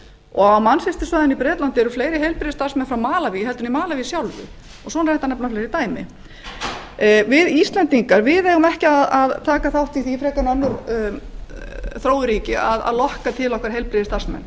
og á manchestersvæðinu í bretlandi eru sömuleiðis fleiri heilbrigðisstarfsmenn frá malaví en í landinu sjálfu við íslendingar eigum ekki að taka þátt í að lokka til okkar heilbrigðisstarfsmenn